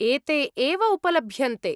एते एव उपलभ्यन्ते।